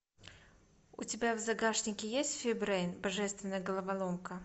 у тебя в загашнике есть фи брейн божественная головоломка